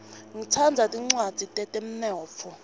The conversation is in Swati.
ngitsandza tincwadzi tetemnotfo